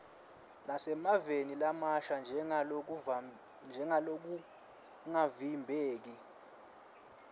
nasemaveni lamasha njengalokungavimbeki